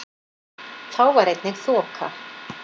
Þá var einnig þoka